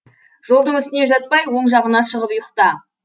жолдың үстіне жатпай оң жағына шығып ұйықта